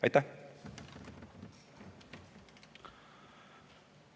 Aitäh!